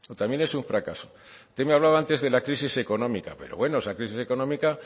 también es un fracaso usted me hablaba antes de la crisis económica pero bueno esa crisis económica